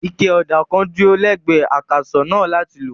Ike ọ̀dà kan dúró lẹ́gbẹ̀ẹ́ akàsọ̀ náà láti lò.